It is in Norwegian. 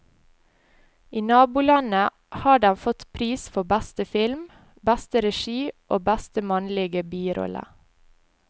I nabolandet har den fått pris for beste film, beste regi og beste mannlige birolle.